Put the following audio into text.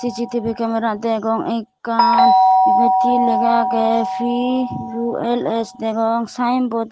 sisitibi kemera ekkan ebet hi lega agey puls degong saen bots.